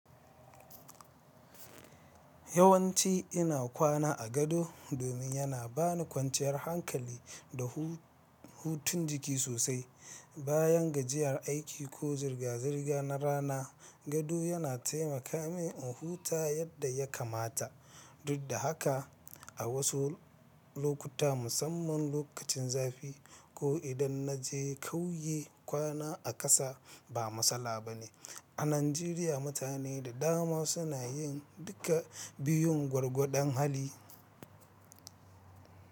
Yawanci ina kwana a gado domin yana bani kwanciyar hankali da hu-hutun jiki sosai. Bayan gajiyar aiki ko zirga-zirga na rana, gado yana taimaka min in huta yadda ya kamata. Duk da haka, a wasu lokuta, musamman lokacin zafi, ko idan na je kauye, kwana a ƙasa ba matsala bane. A Najeriya, mutane da dama suna yin duka biyun gwargwadon hali.